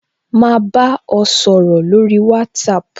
Ma ba ọ sọ̀rọ̀ lórí WhatsApp